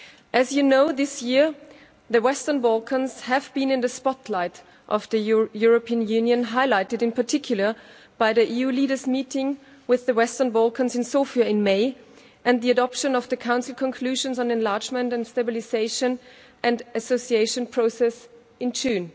As you know, this year the Western Balkans have been in the spotlight of the European Union, highlighted in particular by the EU leaders meeting with the Western Balkans leaders in Sofia in May and the adoption of the Council conclusions on Enlargement and Stabilisation and Association Process in June.